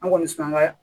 An kɔni sina an ga